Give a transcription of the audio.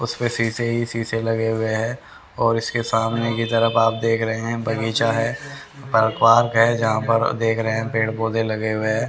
उसपे शीशे ही शीशे लगे हुए है और इसके सामने के तरफ आप देख रहे है बगीचा है और पार्क है जहां पर देख रहे है पेड़ पौधे लगे हुए है।